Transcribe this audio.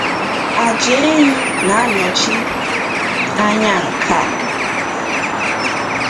Àjà ehi na-anọchi anya nke a.